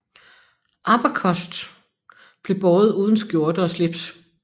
Abacost blev båret uden skjorte og slips